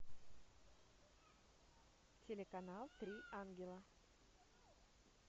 телеканал три ангела